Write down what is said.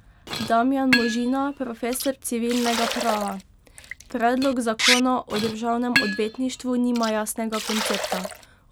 Damjan Možina, profesor civilnega prava: 'Predlog zakona o državnem odvetništvu nima jasnega koncepta.